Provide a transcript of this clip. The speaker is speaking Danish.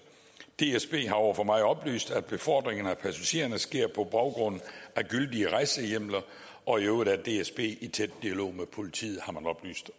dsb har over for mig oplyst at befordringen af passagererne sker på baggrund af gyldige rejsehjemler og i øvrigt er dsb i tæt dialog med politiet har man oplyst